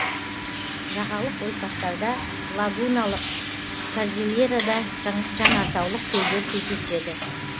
жағалық ойпаттарда лагуналық кордильерада жанартаулық көлдер кездеседі